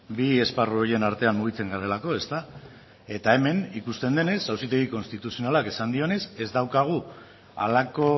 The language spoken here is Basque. bi esparru horien artean mugitzen garelako ezta eta hemen ikusten denez auzitegi konstituzionalak esan dionez ez daukagu halako